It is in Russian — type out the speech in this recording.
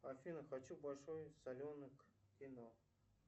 афина хочу большой соленый к кино